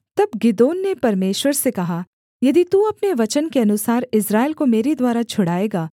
तब गिदोन ने परमेश्वर से कहा यदि तू अपने वचन के अनुसार इस्राएल को मेरे द्वारा छुड़ाएगा